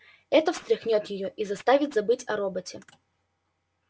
это встряхнёт её и заставит забыть о роботе